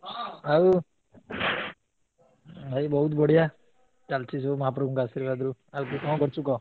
ଆଉ ଭାଇ ବହୁତ୍ ବଢିଆ ଚାଲଚି ସବୁ ମହାପ୍ରଭୁଙ୍କ ଆଶ୍ରିବାଦରୁ ଚାଲଚି କଣ କରୁଚୁ କହ?